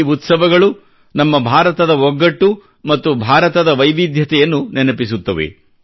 ಈ ಉತ್ಸವಗಳು ನಮ್ಮ ಭಾರತದ ಒಗ್ಗಟ್ಟು ಮತ್ತು ಭಾರತದ ವೈವಿಧ್ಯತೆಯನ್ನು ನೆನಪಿಸುತ್ತವೆ